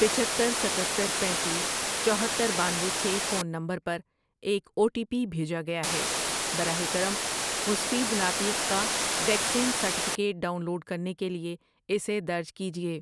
پچہتر، ستتر ،پینتیس ،چوہتر، بانوے، چھ ، فون نمبر پر ایک او ٹی پی بھیجا گیاہے۔ براہ کرم مسفید نعتیق کا ویکسین سرٹیفکیٹ ڈاؤن لوڈ کرنے کے لیے اسے درج کیجیے۔